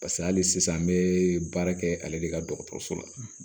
Paseke hali sisan an be baara kɛ ale de ka dɔgɔtɔrɔso la